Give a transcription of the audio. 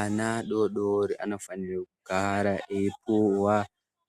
Ana adodori anofane kugara eipuwa